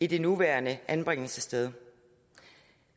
det nuværende anbringelsessted